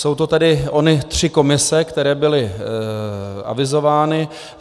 Jsou to tedy ony tři komise, které byly avizovány.